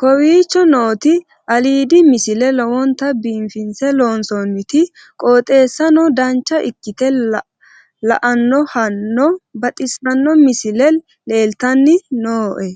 kowicho nooti aliidi misile lowonta biifinse haa'noonniti qooxeessano dancha ikkite la'annohano baxissanno misile leeltanni nooe